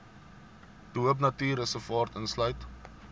de hoopnatuurreservaat insluit